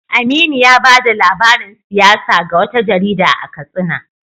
Aminu ya bada labarin siyasa ga wata jarida a Katsina.